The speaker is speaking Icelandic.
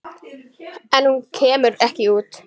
En hún kemur ekki út.